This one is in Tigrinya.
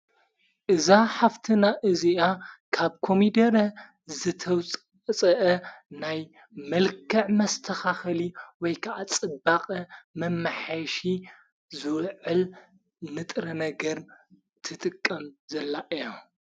እዛ ሃፍትና እዚኣ ካብ ኮሚደረ ዘተውፅፅአ ናይ መልከዕ መስተኻኸሊ ወይ ከዓ ጽባቐ መማሐሽ ዙውዕል ንጥረ ነገር ትጥቀም ዘላ እያ፡፡